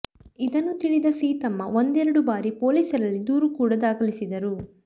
ಇದನ್ನು ತಿಳಿದ ಸೀತಮ್ಮ ಒಂದೆರಡು ಬಾರಿ ಪೊಲೀಸರಲ್ಲಿ ದೂರು ಕೂಡ ದಾಖಲಿಸಿದರು